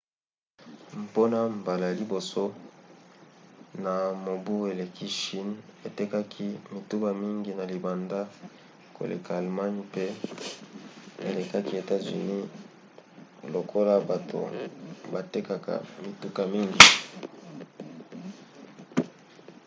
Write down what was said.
mpona mbala ya liboso na mobu eleki chine etekaki mituka mingi na libanda koleka allemagne pe elekaki etats-unis lokola bato batekaka mituka mingi